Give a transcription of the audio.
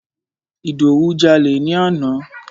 Ìdòwú jalè ni àná.